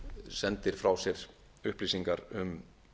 sendir frá sér upplýsingar um